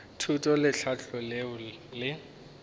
thuto le tlhahlo leo le